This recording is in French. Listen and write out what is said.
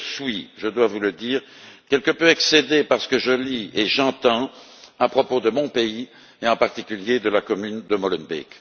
Mais je suis, je dois vous le dire, quelque peu excédé par ce que je lis et ce que j'entends à propos de mon pays et, en particulier, de la commune de Molenbeek.